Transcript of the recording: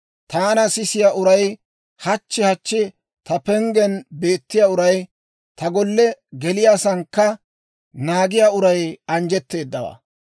Taana sisiyaa uray, hachchi hachchi ta penggen beettiyaa uray, ta golle geliyaasankka naagiyaa uray anjjetteedawaa.